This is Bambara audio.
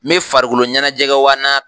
Me farikolo ɲɛnajɛgɛ wa naa.